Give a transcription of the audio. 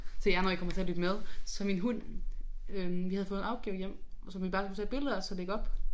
Til jer når I kommer til at lytte med så min hund øh vi havde fået en opgave hjem som vi bare skulle tage et billede af og så lægge op